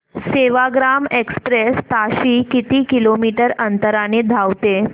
Sevagram express ताशी किती kilometre अंतराने धावते